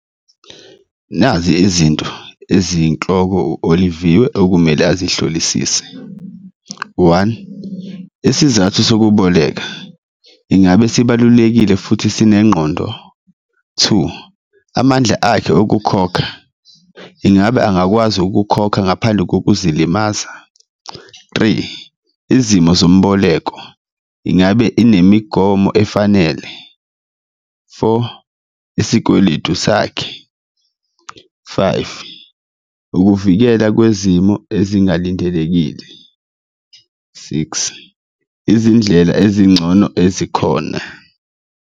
Nazi izinto eziyinhloko u-Oliviwe okumele azihlolisise, one, isizathu sokuboleka, ingabe sibalulekile futhi sinengqondo? Two, amandla akhe okukhokha, ingabe angakwazi ukukhokha ngaphandle kokuzilimaza? Three, izimo zomboleko, ingabe inemigomo efanele? Four, isikweletu sakhe, five, ukuvikela kwezimo ezingalindelekile, six, izindlela ezingcono ezikhona.